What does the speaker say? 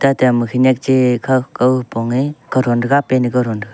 eta ama khanyak chai kau khaupong nge kauthon thega pan ne kauthon thega.